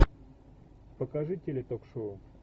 покажи теле ток шоу